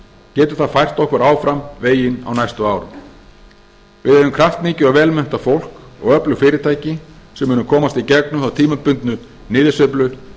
getur það fært okkur áfram veginn á næstu árum við eigum kraftmikið og vel menntað fólk og öflug fyrirtæki sem munu komast í gegnum þá tímabundnu niðursveiflu